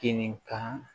Kini kan